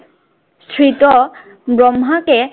শ্রীত ব্রহ্মাকে